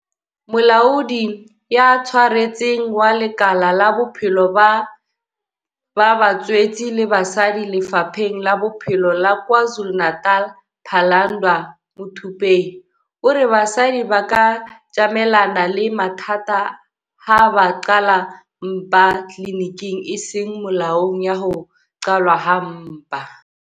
Molaodi ya Tshwaretseng wa lekala la Bophelo ba Batswetse le Basadi Lefapheng la Bophelo la KwaZulu-Natal, Phalanndwa Muthupei, o re basadi ba ka tjamelana le mathata ha ba qhala mpa tliliniking e seng molaong ya ho qhalwa ha mpa.